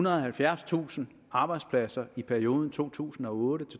og halvfjerdstusind arbejdspladser i perioden to tusind og otte